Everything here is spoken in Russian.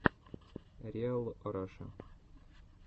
риал раша